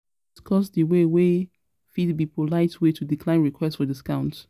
You fit discuss di way wey fit be polite way to decline request for discounts?